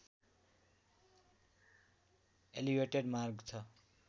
elevated मार्ग छ